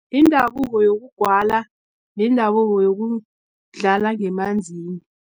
Indabuko yokugwala, nendabuko yokudlala ngemanzini.